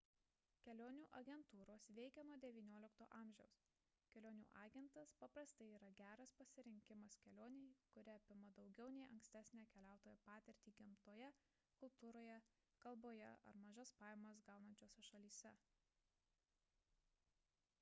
kelionių agentūros veikia nuo xix a kelionių agentas paprastai yra geras pasirinkimas kelionei kuri apima daugiau nei ankstesnę keliautojo patirtį gamtoje kultūroje kalboje ar mažas pajamas gaunančiose šalyse